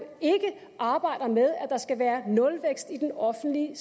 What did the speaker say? ikke arbejder med at der skal være nulvækst i den offentlige